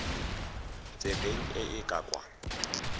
tsebeng e e ka kwa